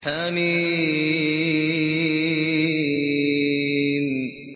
حم